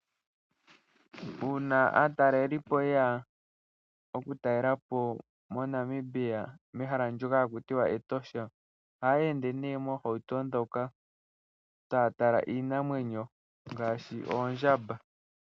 Uuna aatalelipo yeya oku talelapo mo Namibia mehala ndyoka haku tiwa Etosha ohaye ndee ne mohauto moka taya tala iinamwenyo ngashi Ondjamba.